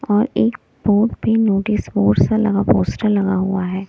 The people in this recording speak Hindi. और एक बोर्ड पे नोटिस बोर्ड सा लगा पोस्टर लगा हुआ है।